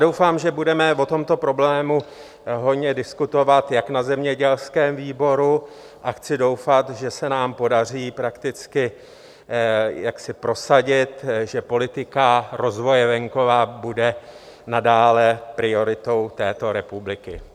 Doufám, že budeme o tomto problému hojně diskutovat jak na zemědělském výboru, a chci doufat, že se nám podaří prakticky jaksi prosadit, že politika rozvoje venkova bude nadále prioritou této republiky.